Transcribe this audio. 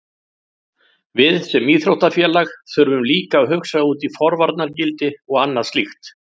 Við sem íþróttafélag þurfum líka að hugsa út í forvarnargildi og annað slíkt.